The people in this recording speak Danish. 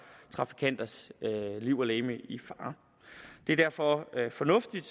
trafikanters liv og lemmer i fare det er derfor fornuftigt